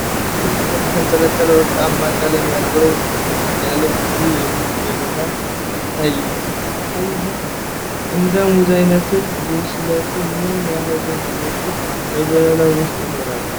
በዛፍ ግንድ ላይ የተንጠለጠለ ወርቃማ ቀለም ያለው፣ ጥቅጥቅ ያለ፣ ብዙ የሙዝ ዘለላ ታያለህ? እንደ ሙዙ አይነትና ብስለት ምን ያህል ሙዞች በዘለላው ውስጥ ይኖራሉ?